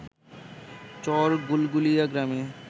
চর গুলগুলিয়া গ্রামে